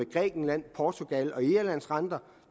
grækenland portugal og irlands renter